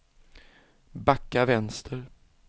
backa vänster